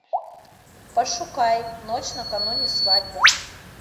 пошукай ночь накануне свадьбы